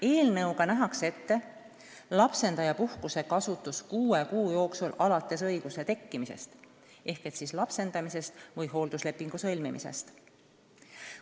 Eelnõuga nähakse ette lapsendajapuhkuse kasutus kuue kuu jooksul alates selle õiguse tekkimisest ehk siis lapsendamisest või hoolduslepingu sõlmimisest.